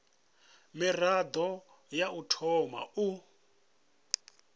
mirado ya u thoma u